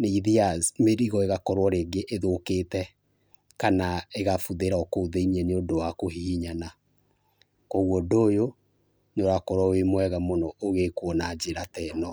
nĩithiyaga mĩrigo rĩngĩ ĩgakorwo ĩthũkĩte kana ĩgabuthĩra o kuo thĩinĩ nĩũndũ wa kũhihinyana. Koguo ũndũ ũyũ nĩ ũrakorwo wĩ mwega ũgĩkwo na njĩra ta ĩno.